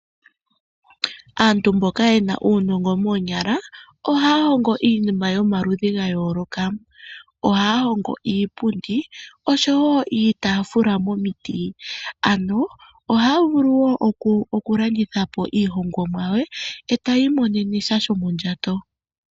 Aantu mboka ye na uunongo moonyala ohaya hongo iinima yomaludhi ga yooloka. Ohaya hongo iipundi oshowo iitaafula momiti. Ohaya vulu wo okulanditha po iihongomwa yawo e taya imonene sha shomondjato.